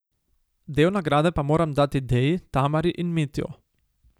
Del nagrade pa moram dati Deji, Tamari in Mitju.